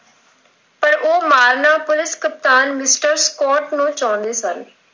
ਉਹ ਮਾਰਨਾ ਪੁਲਿਸ ਕਪਤਾਨ Mister Scott ਸਨ।